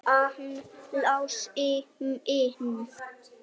Hann Lási minn!